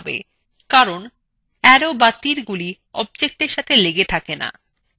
কারণ তীরগুলি অবজেক্টের সাথে লেগে থাকে না